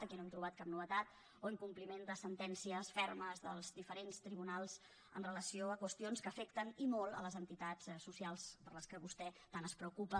aquí no hem trobat cap novetat o incompliment de sentències fermes dels diferents tribunals amb relació a qüestions que afecten i molt les entitats socials per a les quals vostè tant es preocupa